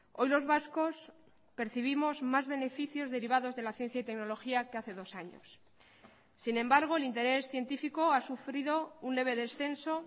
hoy los vascos percibimos más beneficios derivados de la ciencia y tecnología que hace dos años sin embargo el interés científico ha sufrido un leve descenso